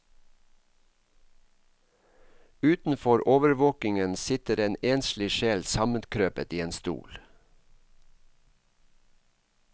Utenfor overvåkingen sitter en enslig sjel sammenkrøpet i en stol.